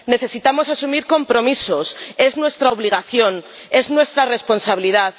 Necesitamos asumir compromisos es nuestra obligación, es nuestra responsabilidad.